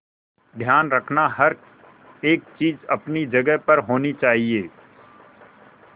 ध्यान रखना हर एक चीज अपनी जगह पर होनी चाहिए